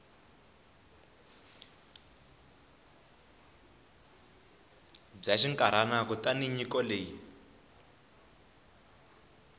bya xinkarhana kutani nyiko leyi